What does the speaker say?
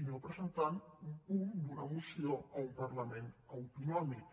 i no presentant un punt d’una moció a un parlament autonòmic